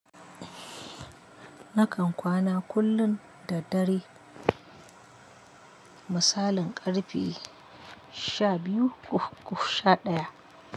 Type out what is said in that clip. Nakan kwana kullum da dare misalin ƙarfe sha biyu ko sha ɗaya.